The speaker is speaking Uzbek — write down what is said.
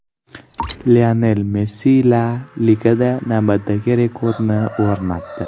Lionel Messi La Ligada navbatdagi rekordni o‘rnatdi.